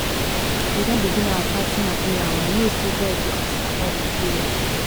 we don begin our fasting and praying o i know sey god go answer all we prayer